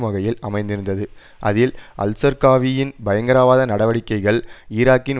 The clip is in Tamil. வகையில் அமைந்திருந்தது அதில் அல்சர்க்காவியின் பயங்கரவாத நடவடிக்கைகள் ஈராக்கின்